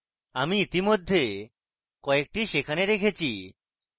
আপনি ইতিমধ্যে কয়েকটি সেখানে রেখেছি